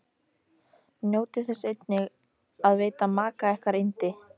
Njótið þess einnig að veita maka ykkar yndi.